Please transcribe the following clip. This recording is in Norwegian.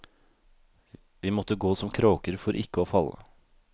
Vi måtte gå som kråker for ikke å falle.